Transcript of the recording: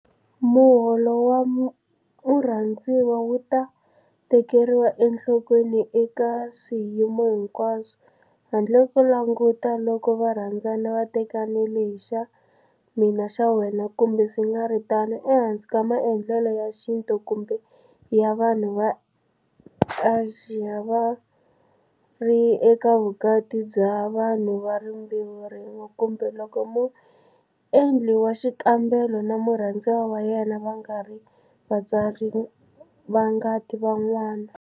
Muholo wa murhandziwa wu ta tekeriwa enhlokweni eka swiyimo hinkwaswo - handle ko languta loko varhandzani va tekanile hi xa mina xa wena kumbe swi nga ri tano, ehansi ka maendlelo ya xintu kumbe ya vanhu va Asia, va ri eka vukati bya vanhu va rimbewu rin'we kumbe loko muendli wa xikambelo na murhandziwa wa yena va nga ri vatswari va ngati va n'wana.